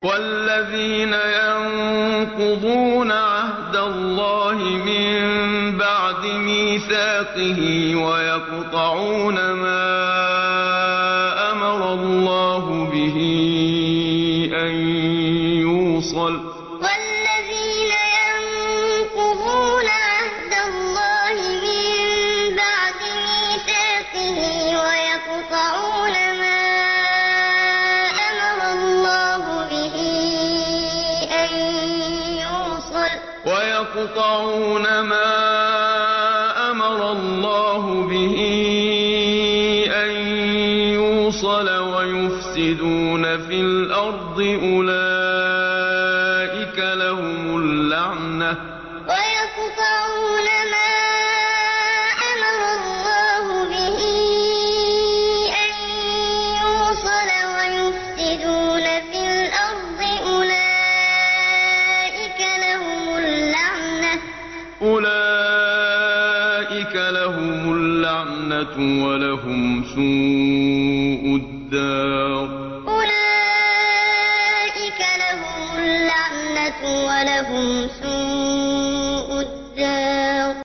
وَالَّذِينَ يَنقُضُونَ عَهْدَ اللَّهِ مِن بَعْدِ مِيثَاقِهِ وَيَقْطَعُونَ مَا أَمَرَ اللَّهُ بِهِ أَن يُوصَلَ وَيُفْسِدُونَ فِي الْأَرْضِ ۙ أُولَٰئِكَ لَهُمُ اللَّعْنَةُ وَلَهُمْ سُوءُ الدَّارِ وَالَّذِينَ يَنقُضُونَ عَهْدَ اللَّهِ مِن بَعْدِ مِيثَاقِهِ وَيَقْطَعُونَ مَا أَمَرَ اللَّهُ بِهِ أَن يُوصَلَ وَيُفْسِدُونَ فِي الْأَرْضِ ۙ أُولَٰئِكَ لَهُمُ اللَّعْنَةُ وَلَهُمْ سُوءُ الدَّارِ